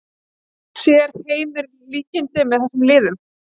Sér Heimir líkindi með þessum liðum?